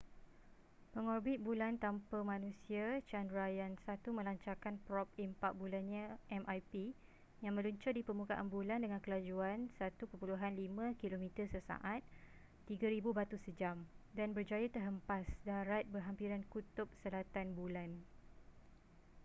pengorbit bulan tanpa manusia chandrayaan-1 melancarkan prob impak bulannya mip yang meluncur di permukaan bulan dengan kelajuan 1.5 kilometer sesaat 3000 batu sejam dan berjaya terhempas darat berhampiran kutub selatan bulan